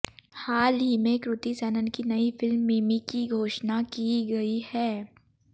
हाल ही में कृति सेनन की नई फिल्म मिमी की घोषणा की गई है